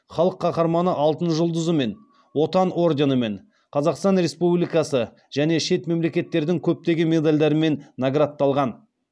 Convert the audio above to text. халық қаһарманы алтын жұлдызымен отан орденімен қазақстан республикасы және шет мемлекеттердің көптеген медальдарымен наградталған